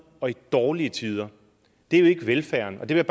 og dårlige tider det er jo ikke velfærden det vil